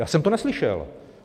Já jsem to neslyšel.